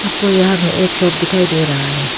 को यहां पे एक शॉप दिखाई दे रहा है।